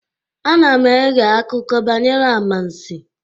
Ana m eghe akụkọ banyere amansi